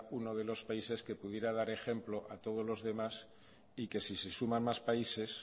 uno de los países que pudiera dar ejemplo a todos los demás y que si se suman más países